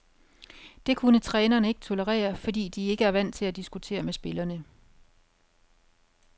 Det kunne trænerne ikke tolerere, fordi de er ikke vant til at diskutere med spillerne.